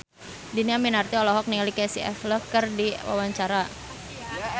Dhini Aminarti olohok ningali Casey Affleck keur diwawancara